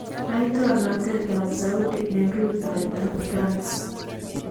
Laitoriatab Saudi , en rutoyto France